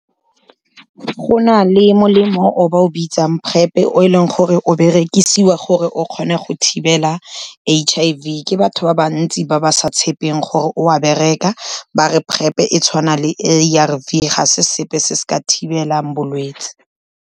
Go na le molemo o ba o bitsang PrEP-e, o e leng gore o berekisiwa gore o kgone go thibela H_I_V. Ke batho ba bantsi ba ba sa tshepeng gore o a bereka, ba re PrEP-e e tshwana le A_R_V, ga se sepe se se ka thibelang bolwetse.